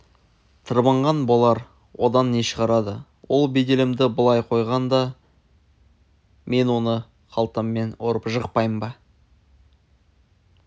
тырбанған болар одан не шығарады ол беделімді былай қойғанда мен оны қалтаммен ұрып жықпаймын ба